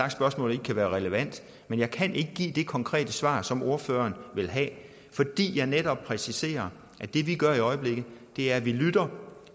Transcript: at spørgsmålet ikke kan være relevant men jeg kan ikke give det konkrete svar som ordføreren vil have fordi jeg netop præciserer at det vi gør i øjeblikket er at vi lytter